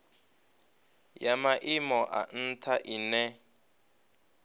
ya maimo a ntha ine